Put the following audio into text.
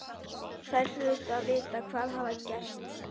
Þær hlutu að vita hvað hafði gerst.